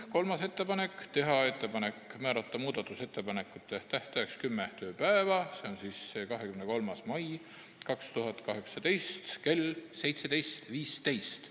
Kolmandaks otsustati teha ettepanek määrata muudatusettepanekute esitamise tähtajaks kümme tööpäeva, s.o 23. mai 2018 kell 17.15.